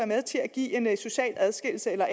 med til at give en socialt adskillelse eller